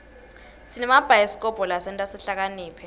sinemabhayisikobho lasenta sihlakaniphe